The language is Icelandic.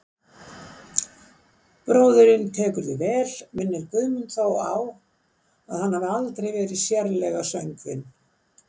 Bróðirinn tekur því vel, minnir Guðmund þó á að hann hafi aldrei verið sérlega söngvinn.